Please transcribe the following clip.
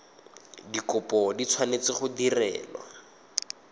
dikopo di tshwanetse go direlwa